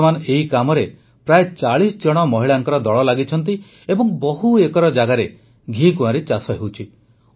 ବର୍ତ୍ତମାନ ଏହି କାମରେ ପ୍ରାୟ ଚାଳିଶ ଜଣ ମହିଳାଙ୍କ ଦଳ ଲାଗିଛନ୍ତି ଏବଂ ବହୁ ଏକର ଜାଗାରେ ଘିକୁଆଁରୀ ଚାଷ ହେଉଛି